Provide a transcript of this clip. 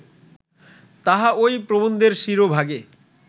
তাহা ঐ প্রবন্ধের শিরোভাগে